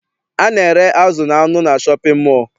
A na-ere azụ na anụ na shọpịn mọọ.